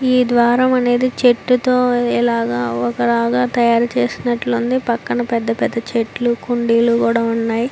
ఈ ద్వారం అనేది చెట్టు తో ఇలాగ ఒక లాగా తయారు చేసినట్లు ఉంది. పక్కన పెద్ధ పెద్ధ చెట్లు కుండీలు కూడా ఉన్నాయి.